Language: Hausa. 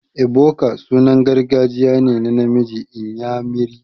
Ebuka sunan gargajiya ne na namiji inyamiri.